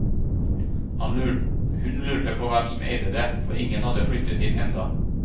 Hun lurte på hvem som eide det, for ingen hadde flyttet inn enda.